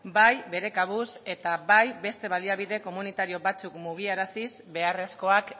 bai bere kabuz eta bai beste baliabide komunitario batzuk mugiaraziz beharrezkoak